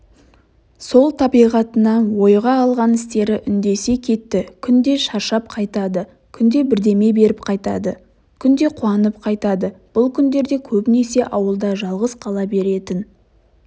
сол табиғатына ойға алған істері үндесе кетті күнде шаршап қайтады күнде бірдеме беріп қайтады күнде қуанып қайтады бұл күндерде көбінесе ауылда жалғыз қала беретін